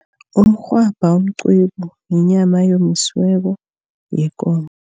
Umrhwabha umqwebu, yinyama eyomisiweko yekomo.